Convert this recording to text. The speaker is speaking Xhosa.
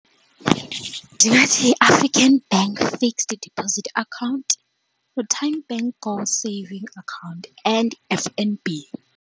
Ndingathi yiAfrican Bank fixed deposit account, noTymebank goal saving account and F_N_B.